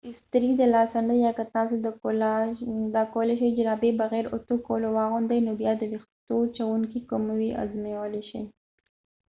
که استري د لاسه نه ده یا که تاسو د کولای شئ جرابې بغېر اوتو کولو واغوندئ نو بیا د ويښتووچوونکی که وي ازمویلای شئ